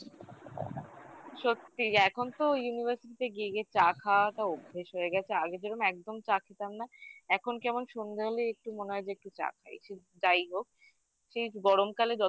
সত্যি এখন তো university তে গেলে চা খাওয়াটা অভ্যেস হয়ে গেছে আগে যেরকম একদম চা খেতাম এখন কেমন সন্ধ্যা হলে একটু মনে হয় যে একটু চা খাইছি যাই হোক সেই গরমকালে